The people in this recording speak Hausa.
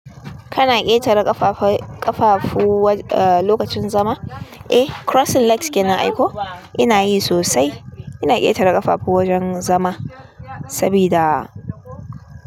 Kana ƙetare ƙafafu lokacin zama? Eh, crossing legs kenan aiko? Ina yi sosai. Ina ƙetare ƙafafu wajen zama sabida.